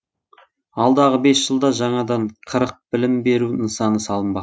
алдағы бес жылда жаңадан қырық білім беру нысаны салынбақ